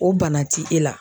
O bana ti e la